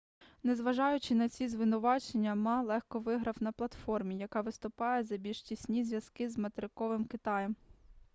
незважаючи на ці звинувачення ма легко виграв на платформі яка виступає за більш тісні зв'язки з материковим китаєм